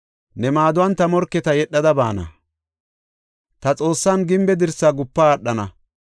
Ne maaduwan ta morketa yedhada baana; ta Xoossan gimbe dirsa gupa aadhana.